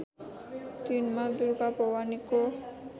दिनमा दुर्गा भवानीको